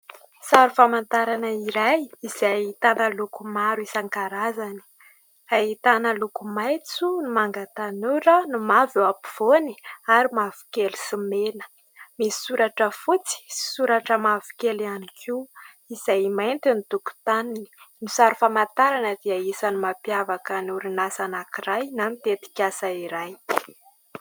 Sary famantarana iray izay ahitana loko maro isan-karazany : ahitana ny loko maitso, ny manga tanora, ny mavo eo ampovoany ary mavokely sy mena ; misy soratra fotsy sy soratra mavokely ihany koa izay mainty ny tokotaniny. Ny sary famantarana dia isan'ny mampiavaka ny orinasa anankiray na tetikasa anankiray.